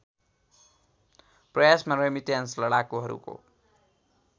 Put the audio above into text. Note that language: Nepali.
प्रयासमा रेसिस्टेन्स लडाकुहरूको